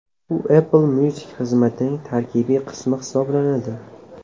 U Apple Music xizmatining tarkibiy qismi hisoblanadi.